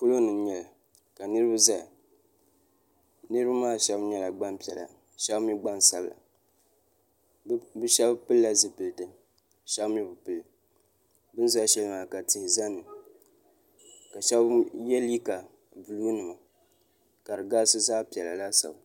polo ni n nyɛli ka nriba zaya niriba maa shɛbi nyɛla gbapiɛlla shɛbi mi gbasabila be shɛbi pɛla zipiɛlitɛ shɛbi mi be pɛli bɛn za shɛli maa ka tihi ʒɛ ni ka shɛbi yɛ liga bulu nɛma ka di garisi zaɣ piɛla laasabu